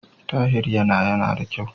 Tahir yana yana da kyau.